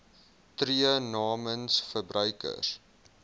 tree namens verbruikers